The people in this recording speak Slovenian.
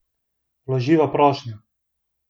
Vloživa prošnjo!